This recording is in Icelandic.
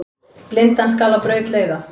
Blindan skal á braut leiða.